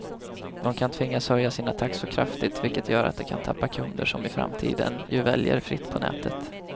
De kan tvingas höja sina taxor kraftigt, vilket gör att de kan tappa kunder som i framtiden ju väljer fritt på nätet.